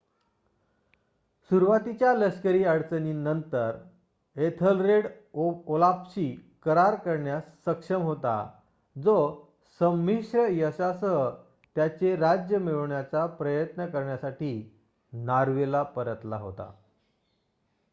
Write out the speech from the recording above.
सुरुवातीच्या लष्करी अडचणींनंतर एथलरेड ओलाफशी करार करण्यास सक्षम होता जो संमिश्र यशासह त्याचे राज्य मिळवण्याचा प्रयत्न करण्यासाठी नॉर्वेला परतला होता